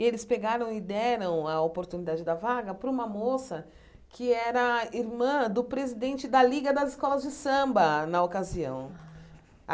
E eles pegaram e deram a oportunidade da vaga para uma moça que era irmã do presidente da Liga das Escolas de Samba, na ocasião.